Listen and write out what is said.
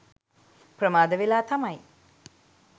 ප්‍රමාද වෙලා තමයි